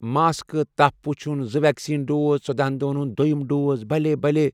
mask ،تپھ وٗچھٗن، زٕ ویکسین ڈوز، ژۄدہَن دۄہَن ہُنٛد دو٘یم ڈوز، بلیہ بلیہ بلیہ